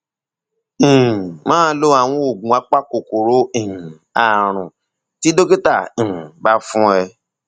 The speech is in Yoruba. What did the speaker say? um máa lo àwọn oògùn apakòkòrò um ààrùn tí dókítà um bá fún ẹ